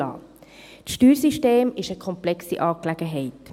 Das Steuersystem ist eine komplexe Angelegenheit.